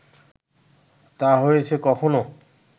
তা হয়েছে কখনো